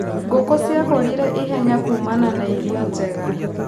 Ngũkũ cirakũrire ihenya kumana na irio njega.